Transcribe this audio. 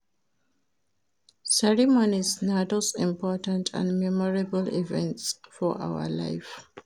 Ceremonies na those important and memorable events for our life